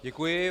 Děkuji.